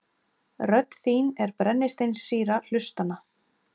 Rödd þín er brennisteinssýra hlustanna.